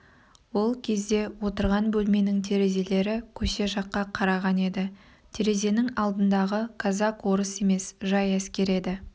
ол кезде отырған бөлменің терезелері көше жаққа қараған еді терезенің алдындағы казак-орыс емес жай әскер еді